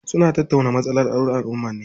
Suna tattauna matsalolin alummar ne.